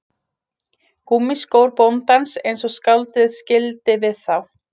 Gúmmískór bóndans eins og skáldið skildi við þá